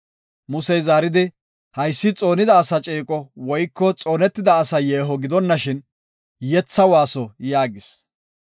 Musey zaaridi, “Haysi xoonida asa ceeqo woyko xoonetida asa yeeho gidonashin, yetha waaso” yaagis.